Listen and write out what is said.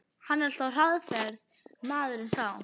Hann er alltaf á hraðferð, maðurinn sá.